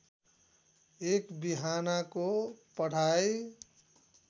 एक बिहानाको पढाइ